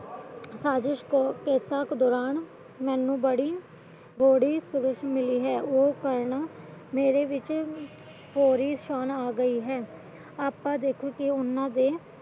ਸਾਜਿਸ਼ ਤੇ ਸ਼ਕ ਦੌਰਾਨ ਮੈਨੂੰ ਬੜੀ ਥੋੜੀ ਸੋਚ ਮਿਲ ਹੈ ਉਹ ਕਰਨ ਨਾਲ਼ ਮੇਰੇ ਵਿੱਚ ਬੜੀ ਸ਼ਾਨ ਆਗਿਆ ਹੈ